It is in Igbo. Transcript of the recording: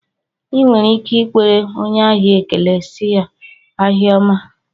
I nwere ike ikwere onye ahịa ekele sị ya, ahịa ọma